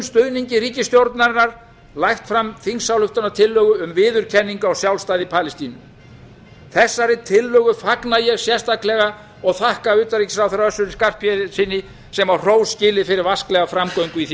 stuðningi ríkisstjórnarinnar lagt fram þingsályktunartillögu um viðurkenningu á sjálfstæði palestínu þessari tillögu fagna ég sérstaklega og þakka utanríkisráðherra össuri skarphéðinssyni sem á hrós skilið fyrir vasklega framgöngu í því